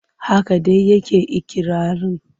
Haka dai yake ikirarin.